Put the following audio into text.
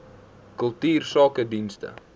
kultuursakedienste